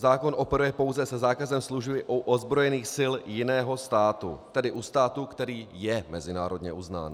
Zákon operuje pouze se zákazem služby u ozbrojených sil jiného státu, tedy u státu, který je mezinárodně uznán.